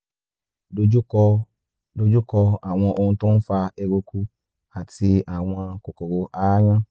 dojú kọ dojú kọ àwọn ohun tó ń fa eruku àti àwọn kòkòrò aáyán